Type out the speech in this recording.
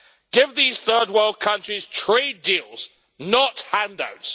Give these Third World countries trade deals not handouts.